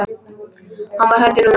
Hann var hræddur núna.